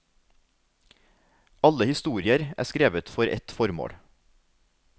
Alle historier er skrevet for et formål.